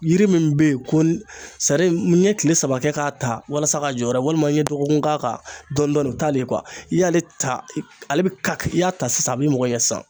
Yiri min bɛ ye ko n ye kile saba kɛ k'a ta walasa ka jɔyɔrɔ ye walima n ye dɔgɔkun k'a kan dɔɔnin dɔɔnin o t'ale ye i y'a ale ta , ale bɛ i y'a ta sisan a b'i mɔgɔ ɲɛ sisan